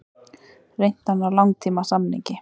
Reynt að ná langtímasamningi